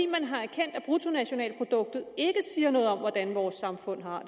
man har erkendt at bruttonationalproduktet ikke siger noget om hvordan vores samfund har